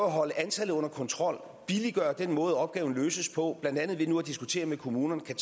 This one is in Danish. at holde antallet under kontrol billiggøre den måde opgaven løses på blandt andet ved nu at diskutere med kommunerne